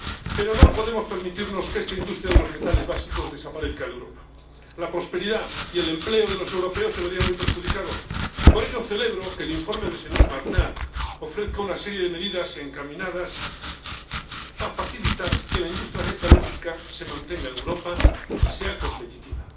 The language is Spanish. Pero no podemos permitirnos que esta industria de los metales básicos desaparezca de Europa la prosperidad y el empleo de los europeos se verían muy perjudicados. Por ello, celebro que el informe del señor Martin ofrezca una serie de medidas encaminadas a facilitar que la industria metalúrgica se mantenga en Europa y sea competitiva.